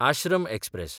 Ashram express